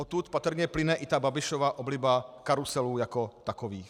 Odtud patrně plyne i ta Babišova obliba karuselů jako takových.